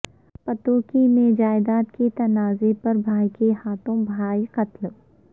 پتوکی میں جائیداد کے تنازعے پر بھائی کے ہاتھوں بھائی قتل